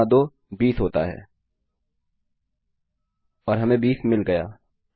10 गुणा 2 20 होता है और हमें 20 मिल गया